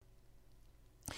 DR2